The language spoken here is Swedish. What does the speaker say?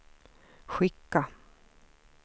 skicka